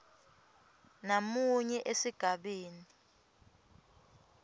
b namunye esigabeni